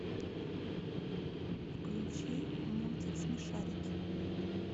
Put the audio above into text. включи мультик смешарики